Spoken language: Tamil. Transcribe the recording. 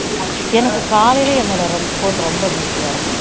எனக்கு காலையில என்னோட phone ரொம்ப busy யா இருக்கும்